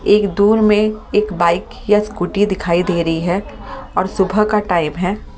एक दूर में एक बाइक या स्कूटी दिखाई दे रही है और सुबह का टाइम है।